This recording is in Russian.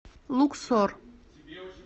луксор